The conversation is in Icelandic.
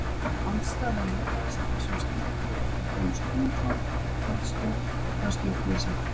Andstæða lýðræðis í þessum skilningi er til dæmis konungsvald, harðstjórn eða stjórnleysi.